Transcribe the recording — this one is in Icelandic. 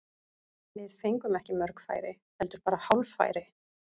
Við fengum ekki mörg færi, heldur bara hálffæri.